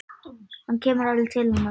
Hann kemur alveg til hennar.